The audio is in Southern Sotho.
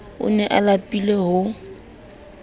o ne a lapile ho